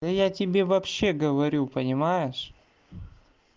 я тебе вообще говорю понимаешь